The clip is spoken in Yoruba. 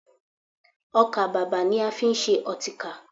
Ọkà-bàbà ni a fi ń ṣe ọtíkà